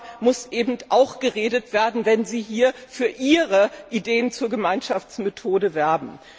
Darüber muss eben auch geredet werden, wenn Sie hier für Ihre Ideen zur Gemeinschaftsmethode werben.